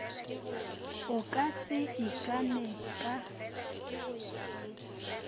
o ka se ikane ka